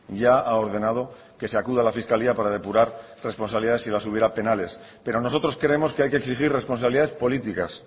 ya ha ordenado que se acuda a la fiscalía para depurar responsabilidades si las hubiera penales pero nosotros creemos que hay que exigir responsabilidades políticas